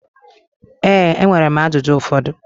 Ee, enwere m ajụjụ ụfọdụ.